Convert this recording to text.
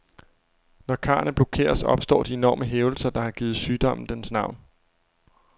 Når karrene blokeres, opstår de enorme hævelser, der har givet sygdommen dens navn.